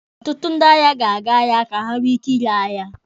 Ọtụtụ ndị ahịa ga-aga ahịa ka ha nwee ike ire ahịa.